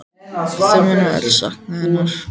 En þau munu öll sakna hennar.